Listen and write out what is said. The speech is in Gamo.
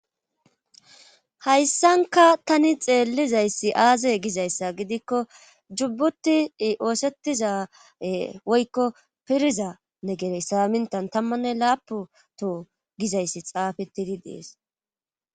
hayssanka tani xeellizayssi aaze gizayssa gidikko jubbuti oosettizae woykko pirza negerey saamintan tammanne laaputo gizayssi xaafetidi dees